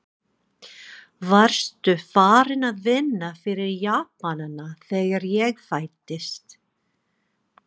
Varstu farinn að vinna fyrir Japanana, þegar ég fæddist?